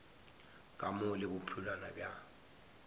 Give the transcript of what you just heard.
ka mo le bophelwana bja